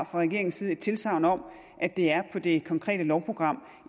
fra regeringens side et tilsagn om at det er på det konkrete lovprogram